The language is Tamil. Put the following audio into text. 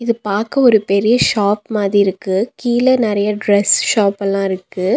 இது பாக்க ஒரு பெரிய ஷாப் மாதிருக்கு கீழ நறைய ட்ரஸ் ஷாப்பல்லா இருக்கு.